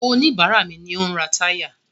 Oníbàárà mi ni ó ń ra táyà.